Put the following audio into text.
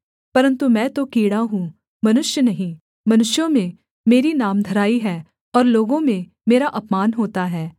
परन्तु मैं तो कीड़ा हूँ मनुष्य नहीं मनुष्यों में मेरी नामधराई है और लोगों में मेरा अपमान होता है